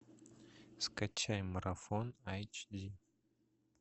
скачай марафон айч ди